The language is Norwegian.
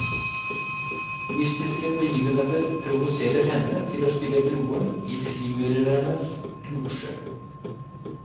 Mystiske begivenheter provoserer henne til å spille broren i frimurernes losje.